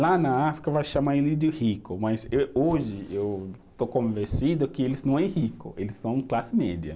Lá na África, vai chamar eles de rico, mas eh hoje eu estou convencido que eles não é rico, eles são classe média.